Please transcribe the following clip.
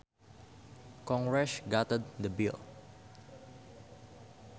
Congress gutted the bill